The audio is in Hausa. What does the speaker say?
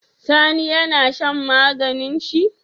Sani yAna shan maganin shi?